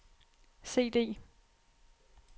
CD